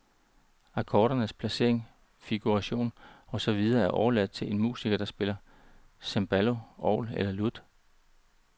Akkordernes placering, figuration og så videre er overladt til en musiker der spiller cembalo, orgel eller lut.